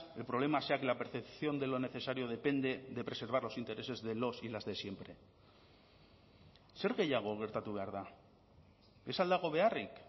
el problema sea que la percepción de lo necesario depende de preservar los intereses de los y las de siempre zer gehiago gertatu behar da ez al dago beharrik